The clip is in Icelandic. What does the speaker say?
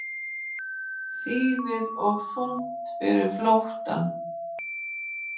Þýfið of þungt fyrir flóttann